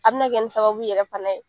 A bina kɛ ni sababu yɛrɛ fana ye